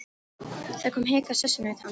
Það kom hik á sessunaut hans.